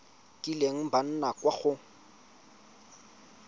kileng ba nna kwa go